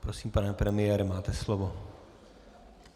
Prosím, pane premiére, máte slovo.